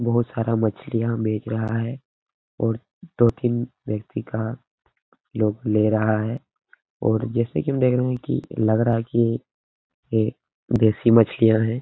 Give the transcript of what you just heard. बहुत सारा मछलियां बेच रहा है और दो-तीन व्यक्ति का लोग ले रहा है जैसा की हम देख रहे हैं की लग रहा है की यह देसी मछलियां है ।